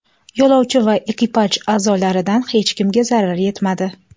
Yo‘lovchi va ekipaj a’zolaridan hech kimga zarar yetmadi.